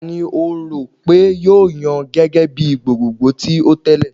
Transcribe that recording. Tani o ro pe yoo yan gẹgẹ bi gbogbogbo ti o tẹle?